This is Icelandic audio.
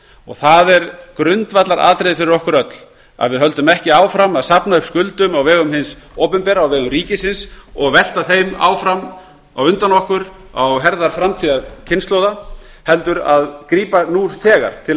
og það er grundvallaratriði fyrir okkur öll að við höldum ekki áfram að safna upp skuldum á vegum hins opinbera á vegum ríkisins og velta þeim áfram á undan okkur á herðar framtíðarkynslóða heldur grípa nú þegar til